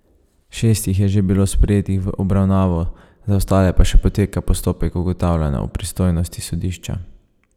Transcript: Šest jih je že bilo sprejetih v obravnavo, za ostale pa še poteka postopek ugotavljanja o pristojnosti sodišča.